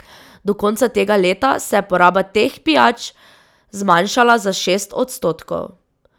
Do konca tega leta se je poraba teh pijač zmanjšala za šest odstotkov.